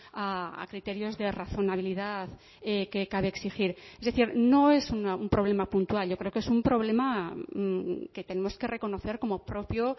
a criterios de razonabilidad que cabe exigir es decir no es un problema puntual yo creo que es un problema que tenemos que reconocer como propio